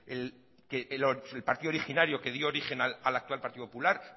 el partido originario que dio origen al actual partido popular